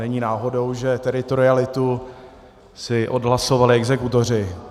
Není náhodou, že teritorialitu si odhlasovali exekutoři.